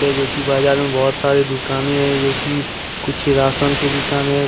बाजार में बहुत सारी दुकाने हैं जो कि कुछ राशन की दुकान है।